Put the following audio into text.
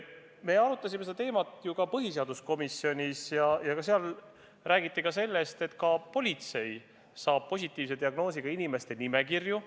Me arutasime seda teemat põhiseaduskomisjonis ja seal räägiti sellest, et ka politsei saab positiivse diagnoosiga inimeste nimekirju.